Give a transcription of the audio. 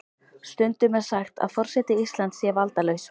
Stundum er sagt að forseti Íslands sé valdalaus.